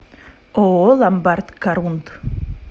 ооо ломбард корунд